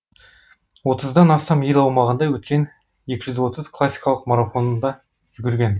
отыздан астам ел аумағында өткен екі жүз отыз классикалық марафонда жүгірген